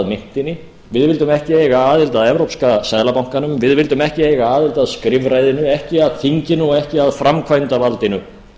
myntinni við vildum ekki eiga aðild að evrópska seðlabankanum við vildum ekki eiga aðild að skrifræðinu ekki að þinginu og ekki að framkvæmdarvaldinu